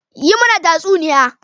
Yi mana tatsuniya.